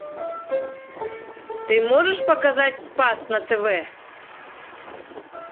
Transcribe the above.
ты можешь показать спас на тв